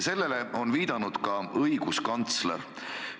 Sellele on viidanud ka õiguskantsler.